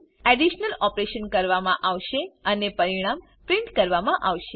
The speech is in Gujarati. એડીશનલ ઓપરેશન કરવામાં આવશે અને પરિણામ પ્રિન્ટ કરવામાં આવશે